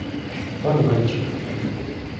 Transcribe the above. подвальчик